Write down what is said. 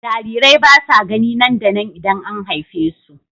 Jarirai ba sa gani nan da nan idan an haife su.